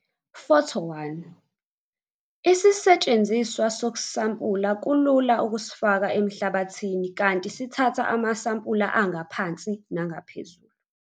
Photo 1- Isisetshenziswa sokusampula kulula ukusifaka emhlabathini kanti sithatha amasampula angaphansi nangaphezulu.